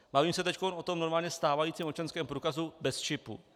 Bavím se teď o tom normálně stávajícím občanském průkazu bez čipu.